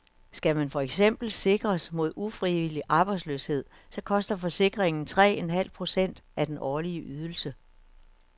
Skal man for eksempel sikres mod ufrivillig arbejdsløshed, koster forsikringen tre en halv procent af den årlige ydelse.